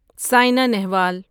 Sena Nehwal